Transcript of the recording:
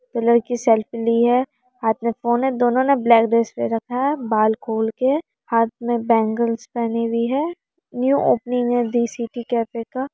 लड़की सेल्फ़ी ली है हाथ मे फोन हैं दोनों ने ब्लैक ड्रेस पहन रखा है बाल खोल के हाथ मे बेंग्लस पहनी हुई है न्यू ओपनिंग है। दी सिटी कैफै का|